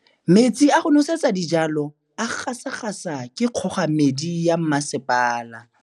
Metsi a go nosetsa dijalo a gasa gasa ke kgogomedi ya masepala.